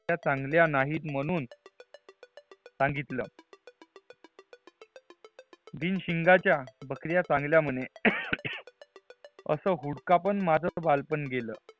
चांगल्यात नहीं म्हणून संगितला बिन शिंगचा बकरिया चांगल्या म्हणे असे हुड़का पण माझा व्हाल पण घेल